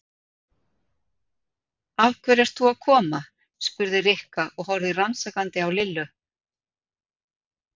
Af hverju ert þú að koma? spurði Rikka og horfði rannsakandi á Lillu.